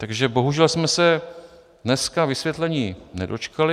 Takže bohužel jsme se dneska vysvětlení nedočkali.